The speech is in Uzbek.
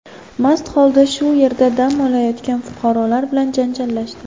mast holda shu yerda dam olayotgan fuqarolar bilan janjallashdi.